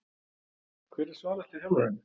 Hver er svalasti þjálfarinn?